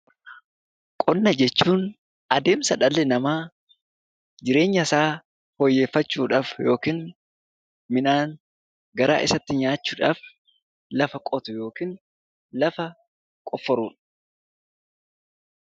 Qonna jechuun adeemsa dhalli namaa jireenya isaa fooyyeeffachuudhaaf yookiin midhaan garaa isaatti nyaachuudhaaf lafa qotu yookiin lafa qofforuudha.